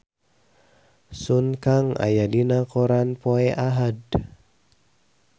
Sun Kang aya dina koran poe Ahad